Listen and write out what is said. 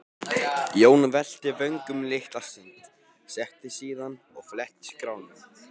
Jón velti vöngum litla stund, settist síðan og fletti skránum.